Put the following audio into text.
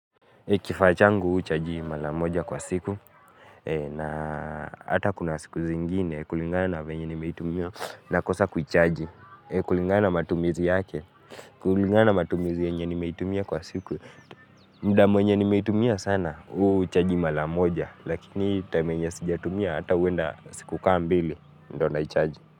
Kifaa changu huchaji mara moja kwa siku, na hata kuna siku zingine kulingana venye nimeitumia nakosa kuchaji, kulingana matumizi yake, kulingana matumizi yenye nimeitumia kwa siku, muda mwenye nimeitumia sana uchaji mara moja, lakini time yenye sijatumia hata huenda siku kama mbili, ndio naichaji.